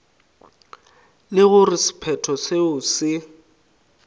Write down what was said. le gore sephetho seo se